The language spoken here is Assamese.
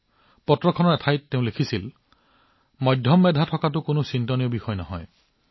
এই চিঠিখনত তেওঁ এঠাইত লিখিছেমধ্যমীয়া হোৱাটো কোনো ডাঙৰ কথা নহয়